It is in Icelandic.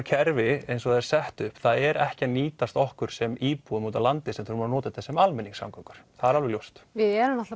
kerfi eins og það er sett upp það er ekki að nýtast okkur sem íbúum úti á landi sem þurfum að nota þetta sem almenningssamgöngur það er alveg ljóst við erum